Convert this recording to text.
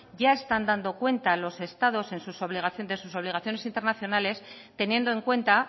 ya están dando cuenta los estados de sus obligaciones internacionales teniendo en cuenta